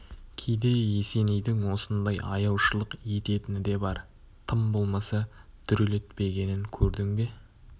кейде есенейдің осындай аяушылық ететіні де бар тым болмаса дүрелетпегенін көрдің бе